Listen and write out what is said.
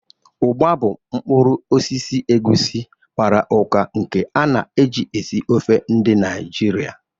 Ugba bụ mkpuru osisi egusi gbara ụka nke a na-eji esi ofe ndi Naijiria.